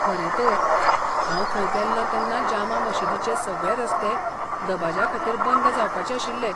खरें तर, हांव थंय गेल्लों तेन्ना जामा मशीदीचे सगळे रस्ते दबाज्याखातीर बंद जावपाचे आशिल्ले.